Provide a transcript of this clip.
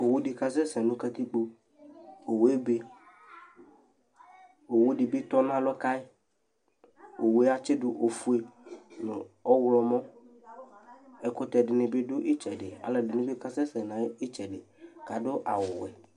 Owʋ dɩ kasɛsɛ nʋ katɩkpo owʋ ebe owʋ dɩbɩ tɔnalɔ kayɩ owʋe atsɩdʋ ofʋe nʋ ɔwlɔmɔ ɛkʋtɛ dɩnɩ dʋ ɩtsɛdɩ alʋ ɛdɩnɩ bɩ kasɛsɛ nʋ ɩtɛdɩ kadʋ awʋ wɛ